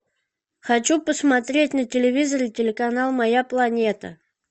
хочу посмотреть на телевизоре телеканал моя планета